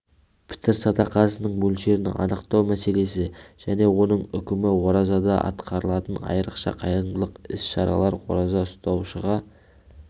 пітір садақасының мөлшерін анықтау мәселесі және оның үкімі оразада атқарылатын айрықша қайырымдылық іс-шаралар ораза ұстаушыға